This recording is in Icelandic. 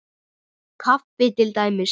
Kaffi til dæmis.